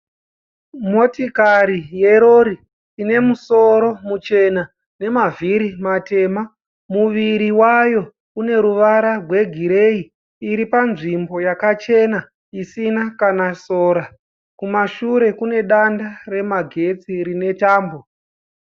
Motokari yerori ine musoro muchena nemavhiri matema, muviri wayo une ruvara rwegireyi, iri panzvimbo yakachena isina kana sora, kuma shure kune danda remagetsi rine tambo.